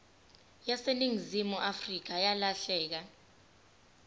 yaseningizimu afrika yalahleka